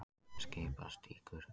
Skipastígur